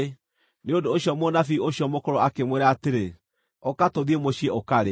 Nĩ ũndũ ũcio mũnabii ũcio mũkũrũ akĩmwĩra atĩrĩ, “Ũka tũthiĩ mũciĩ ũkarĩe.”